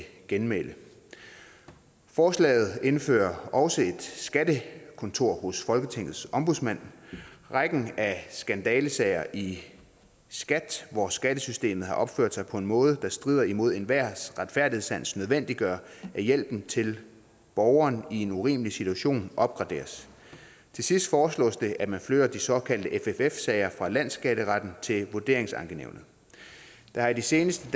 genmæle forslaget indfører også et skattekontor hos folketingets ombudsmand rækken af skandalesager i skat hvor skattesystemet har opført sig på en måde der strider imod enhvers retfærdighedssans nødvendiggør at hjælpen til borgeren i en urimelig situation opgraderes til sidst foreslås det at man flytter de såkaldte fff sager fra landsskatteretten til vurderingsankenævnene det har de seneste